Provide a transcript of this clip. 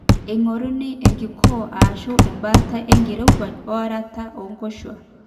eng'oruni enkikoo aashu embaata enkirowuaj oerata oonkoshuaak